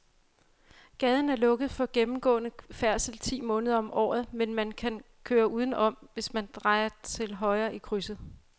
Gaden er lukket for gennemgående færdsel ti måneder om året, men man kan køre udenom, hvis man drejer til højre i krydset.